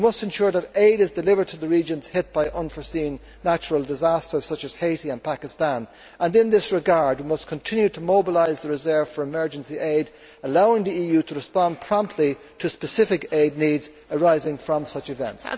We must ensure that aid is delivered to regions hit by unforeseen natural disasters such as Haiti and Pakistan, and in this regard we must continue to mobilise the reserve for emergency aid, allowing the EU to respond promptly to specific aid needs arising from such events.